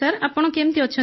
ଆପଣ କେମିତି ଅଛନ୍ତି